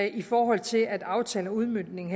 i forhold til at aftalen og udmøntningen